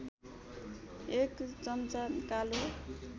१ चम्चा कालो